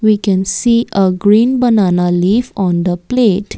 we can see a green banana leaf on the plate.